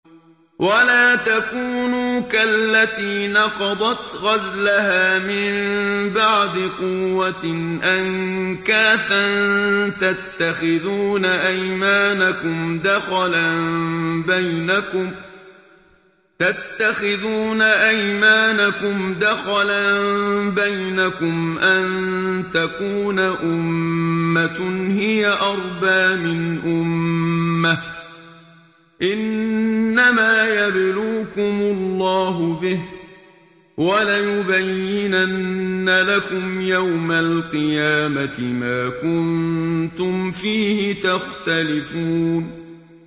وَلَا تَكُونُوا كَالَّتِي نَقَضَتْ غَزْلَهَا مِن بَعْدِ قُوَّةٍ أَنكَاثًا تَتَّخِذُونَ أَيْمَانَكُمْ دَخَلًا بَيْنَكُمْ أَن تَكُونَ أُمَّةٌ هِيَ أَرْبَىٰ مِنْ أُمَّةٍ ۚ إِنَّمَا يَبْلُوكُمُ اللَّهُ بِهِ ۚ وَلَيُبَيِّنَنَّ لَكُمْ يَوْمَ الْقِيَامَةِ مَا كُنتُمْ فِيهِ تَخْتَلِفُونَ